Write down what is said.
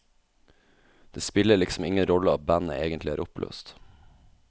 Det spiller liksom ingen rolle at bandet egentlig er oppløst.